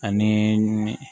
Ani